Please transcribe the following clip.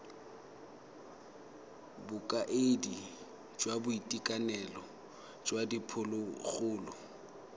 bokaedi jwa boitekanelo jwa diphologolo